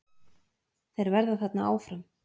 Þeir verða þarna áfram.